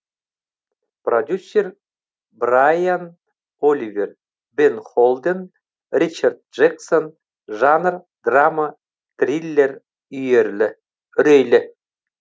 продюсер брайан оливер бен холден ричард джексон жанр драма триллер үрейлі